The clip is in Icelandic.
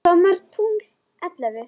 Hvað mörg tungl ellefu?